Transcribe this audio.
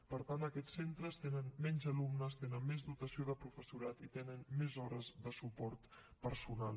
per tant aquests centres tenen menys alumnes tenen més dotació de professorat i tenen més hores de suport personal